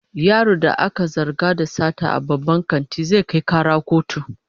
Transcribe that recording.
Yaron da aka zarga da sata a babban kantin, zai kai kara kotu